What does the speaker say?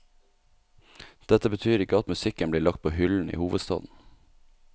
Dette betyr ikke at musikken blir lagt på hyllen i hovedstaden.